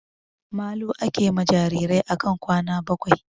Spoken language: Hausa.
Malu ake ma jirajirai akan kwana bakwai